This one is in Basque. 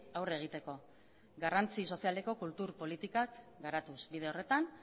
aurre egiteko garrantzi sozialeko kultur politikak garatuz bide horretan